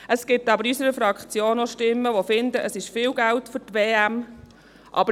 Es gibt aber in unserer Fraktion auch Stimmen, die finden, es sei viel Geld für die WM.